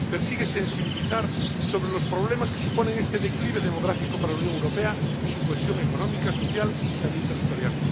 Persigue sensibilizar sobre los problemas que supone este declive demográfico para la Unión Europea y su cohesión económica, social y también territorial.